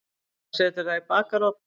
Maður setur það í bakarofn.